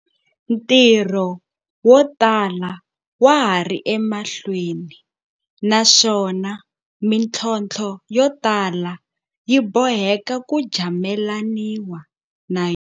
Ntirho wo tala wa ha ri emahlweni, naswona mitlhontlho yo tala yi bo heka ku jamelaniwa na yona.